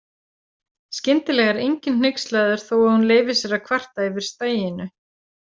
Skyndilega er enginn hneykslaður þó að hún leyfi sér að kvarta yfir staginu.